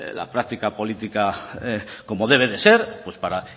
la práctica política como debe de ser para